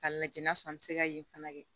K'a lajɛ n'a sɔrɔ an bɛ se ka yen fana kɛ